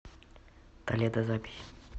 толедо запись